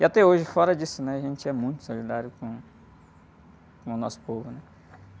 E até hoje, fora disso, né? A gente é muito solidário com, com o nosso povo, né?